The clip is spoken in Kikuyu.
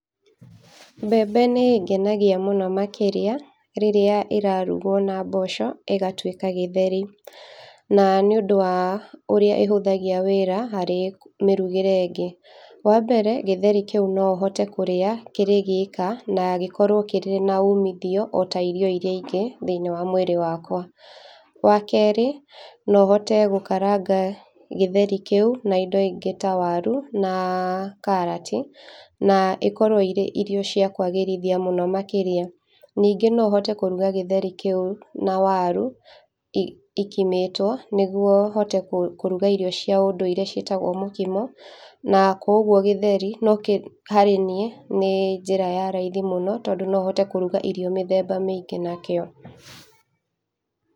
Mbembe nĩĩgenagia mũno makĩria rĩrĩa irarugwo na mboco igatuĩka gĩtheri, na nĩũndũ wa ũrĩa ihũthagia wĩra harĩ mĩrugĩre ĩngĩ. Wambere gĩtheri kĩu nohote gukĩria kĩrĩ gĩka na gĩkorwo kĩrĩ ona umithio ta irio iria ingĩ thĩiniĩ wa mwĩrĩ wakwa. Wa kerĩ, nohote gũkaranga gĩtheri kĩu na indo ingĩ ta waru na karati, na ikorwo irĩ irio cia kwagĩrithia mwĩrĩ mũno makĩria. Ningĩ no hote kũruga gĩtheri kĩu na waru i ikimĩtwo, nĩguo hote kũ kũruga irio cia ũndũire ciĩtagwo mũkimo, na koguo gĩtheri no kĩ hari niĩ nĩ njĩra ya raithi mũno, tondũ no hote kũruga irio mĩthemnba mĩingĩ nakĩo.